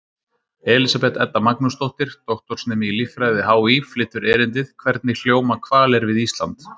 Elísabet Edda Magnúsdóttir, doktorsnemi í líffræði við HÍ, flytur erindið: Hvernig hljóma hvalir við Ísland?